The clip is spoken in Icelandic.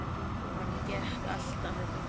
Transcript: Og hann gekk alltaf með fingur